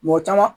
Mɔgɔ caman